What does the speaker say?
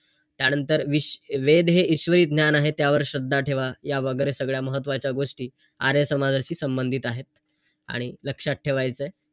चांगलं वाईट आणि जेव्हा आपण चांगलं किंवा वाईट यातला फरक जाणवतो .